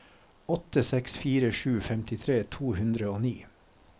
åtte seks fire sju femtitre to hundre og ni